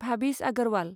Bhabhis Aggarwal